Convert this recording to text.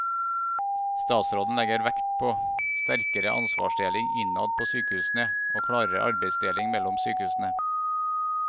Statsråden legger vekt på sterkere ansvarsdeling innad på sykehusene og klarere arbeidsdeling mellom sykehusene.